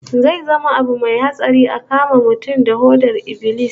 Zai zama abu mai mai hatsari a kama mutum da hodar ibilis